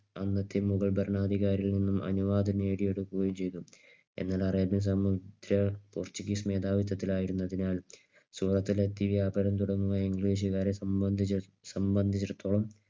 അന്നത്തെ മുഗൾ ഭരണാധികാരികളിൽ നിന്നും അനുവാദം നേടിയെടുക്കുകയും ചെയ്തു. എന്നാൽ അറേബ്യ സംബന്ധിച്ച പോർച്ചുഗീസ് മേധാവിത്വത്തിലായിരുന്നതിനാൽ സൂററ്റിലെത്തിയ വ്യാപാരം തുടങ്ങുന്ന ഇംഗ്ലീഷുകാരെ സംബന്ധിച്ചെ സംബന്ധിച്ചെടുത്തോളം